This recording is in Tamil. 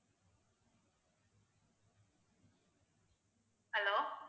hello